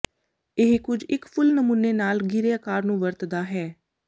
ਇਹ ਕੁਝ ਇੱਕ ਫੁੱਲ ਨਮੂਨੇ ਨਾਲ ਰੇਿਾ ਆਕਾਰ ਨੂੰ ਵਰਤਦਾ ਹੈ